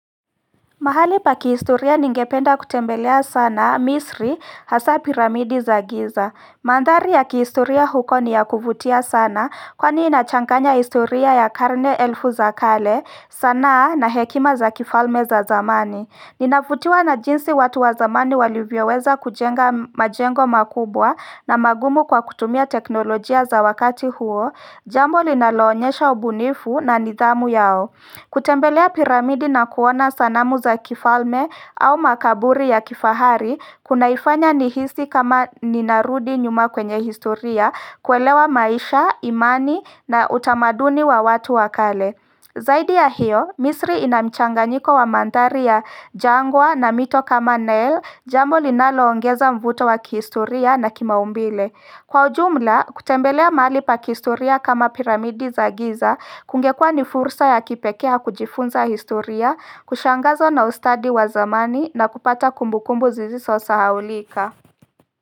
Mahali pa kihistoria ningependa kutembelea sana Misri hasa piramidi za giza. Mandhari ya kihistoria huko ni ya kuvutia sana kwani inachanganya historia ya karne elfu za kale sanaa na hekima za kifalme za zamani. Ninavutiwa na jinsi watu wa zamani walivyoweza kujenga majengo makubwa na magumu kwa kutumia teknolojia za wakati huo Jambo linaloonyesha ubunifu na nidhamu yao kutembelea piramidi na kuona sanamu za kifalme au makaburi ya kifahari kunaifanya nihisi kama ninarudi nyuma kwenye historia kuelewa maisha, imani na utamaduni wa watu wa kale Zaidi ya hiyo, misri inamchanganyiko wa mandhari ya jangwa na mito kama Nile, jambo linaloongeza mvuto wa kihistoria na kimaumbile Kwa ujumla, kutembelea mahali pa kihistoria kama piramidi za giza kungekua ni fursa ya kipekee ya kujifunza historia, kushangazo na ustadi wa zamani na kupata kumbukumbu zisizosahaulika.